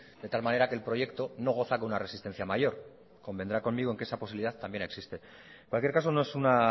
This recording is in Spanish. de tal manera que el proyecto no goza con una resistencia mayor convendrá conmigo en que esa posibilidad también existe en cualquier caso no es una